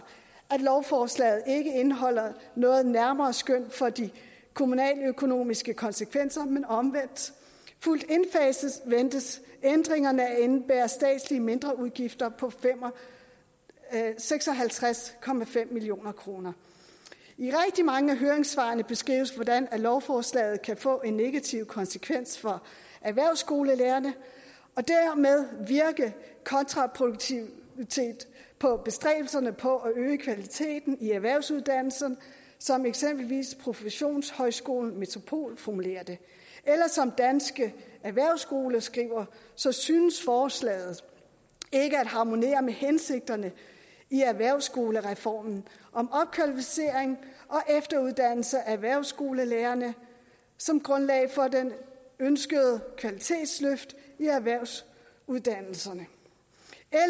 at lovforslaget ikke indeholder noget nærmere skøn for de kommunale økonomiske konsekvenser men omvendt ventes ændringerne at indebære mindre statslige udgifter på seks og halvtreds million kroner i rigtig mange af høringssvarene beskrives hvordan lovforslaget kan få en negativ konsekvens for erhvervsskolelærerne og dermed virke kontraproduktivt på bestræbelserne på at øge kvaliteten i erhvervsuddannelserne som eksempelvis professionshøjskolen metropol formulerer det eller som danske erhvervsskoler skriver så synes forslaget ikke at harmonere med hensigterne i erhvervsskolereformen om opkvalificering og efteruddannelse af erhvervsskolelærerne som grundlag for det ønskede kvalitetsløft i erhvervsuddannelserne